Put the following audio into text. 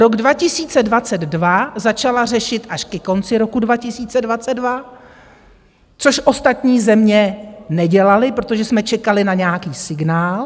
Rok 2022 začala řešit až ke konci roku 2022 - což ostatní země nedělaly - protože jsme čekali na nějaký signál.